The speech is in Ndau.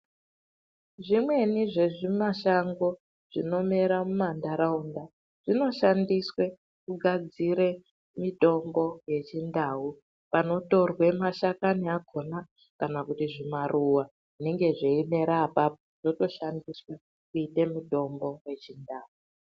Zvemweni zvezvimashango zvinomera mumandharawunda, zvinoshandiswe kugadzire mitombo yechindawu. Panotorwe mashakami akhona kana kuti zvimaruwa zvinenge zveyinerapa zvotoshandiswa kuite mutombo.